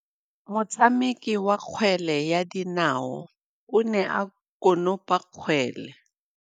Motshameki wa kgwele ya dinaô o ne a konopa kgwele.